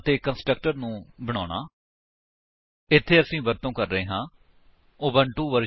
Ubuntu version 11 10 Java development kit 1 6 ਅਤੇ Eclipse 3 7 0 ਇਸ tutorial ਨੂੰ ਸਮਝਣ ਲਈ ਤੁਹਾਨੂੰ ਪਤਾ ਹੋਣਾ ਚਾਹੀਦਾ ਹੈ